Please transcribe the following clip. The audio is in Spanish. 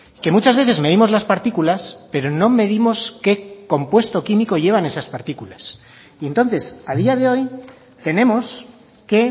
que muchas veces medimos las partículas pero no medimos qué compuesto químico llevan esas partículas y entonces a día de hoy tenemos que